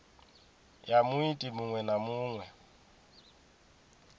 ya muiti muṅwe na muṅwe